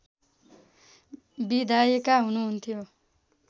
विधायिका हुनुहन्थ्यो